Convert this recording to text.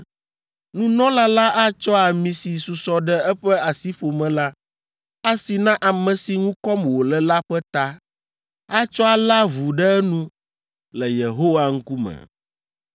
Nunɔla la atsɔ ami si susɔ ɖe eƒe asiƒome la asi na ame si ŋu kɔm wòle la ƒe ta, atsɔ alé avu ɖe enu le Yehowa ŋkume.